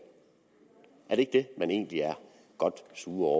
er det ikke det man egentlig er godt sure